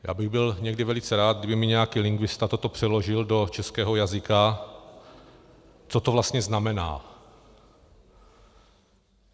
- Já bych byl někdy velice rád, kdyby mi nějaký lingvista toto přeložil do českého jazyka, co to vlastně znamená.